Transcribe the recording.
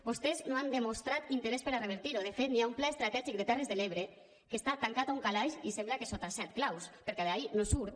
vostès no han demostrat interès per a revertir ho de fet hi ha un pla estratègic de les terres de l’ebre que està tancat a un calaix i sembla que sota set claus perquè d’ahí no surt